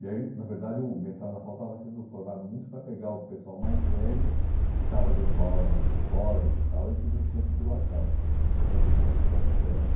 E aí, na verdade, o mestrado na FAU estava sendo formado muito para pegar o pessoal mais velho, que estava dando aula nas escolas e tal, e que não tinha titulação, uhum, né, principalmente os arquitetos.